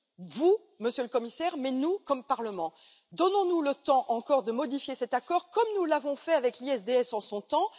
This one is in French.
Vous, Monsieur le Commissaire, mais aussi nous, en tant que Parlement, donnons nous le temps encore de modifier cet accord, comme nous l'avons fait avec l'ISDS en son temps.